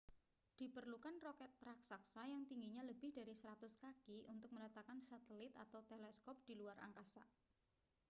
diperlukan roket raksasa yang tingginya lebih dari 100 kaki untuk meletakkan satelit atau teleskop di luar angkasa